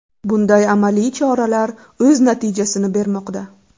Bunday amaliy choralar o‘z natijasini bermoqda.